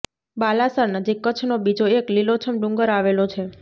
બાલાસર નજીક કચ્છનો બીજો એક લીલોછમ ડુંગર આવેલો છે